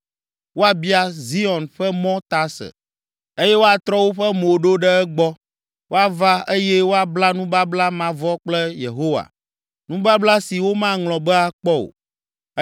Woabia Zion ƒe mɔ ta ase eye woatrɔ woƒe mo ɖo ɖe egbɔ. Woava eye woabla nubabla mavɔ kple Yehowa, nubabla si womaŋlɔ be akpɔ o.